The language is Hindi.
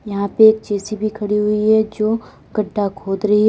यहां पे एक जे_सी_बी खड़ी हुई है जो गड्ढा खोद रही है।